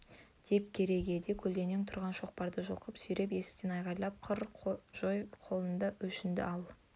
деп керегеде көлденең тұрған шоқпарды жұлқып сүйреп есіктен айғайлап қыр жой қолында өшінді ал